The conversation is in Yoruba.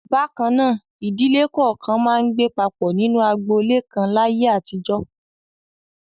Bákan náà, ìdílé kọ̀ọ̀kan máa ń gbé papọ̀ nínú agboolé kan láyé àtijọ́.